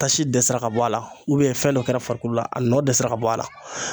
Tasi dɛsɛra ka bɔ a la fɛn dɔ kɛra farikolo la a nɔ dɛsɛra ka bɔ a la.